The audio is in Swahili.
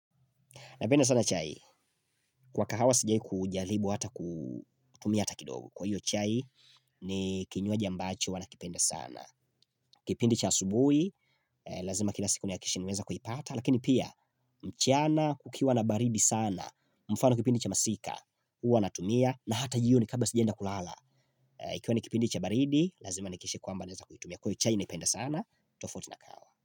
Napenda sana chai, kwa kahawa sijawi kujalibu hata kutumia hata kidogo. Kwa hiyo chai, ni kinywaji ambacho wanakipenda sana. Kipindi cha asubui, lazima kila siku ni akikishe niweza kuipata, lakini pia, mchana, kukiwa na baridi sana, mfano kipindi cha masika, uwa natumia, na hata jioni kabla sijenda kulala. Ikiwa ni kipindi cha baridi, lazima niakikishe kwamba naweza kuitumia. Kwa hiyo chai niipenda sana, tofuti na kahawa.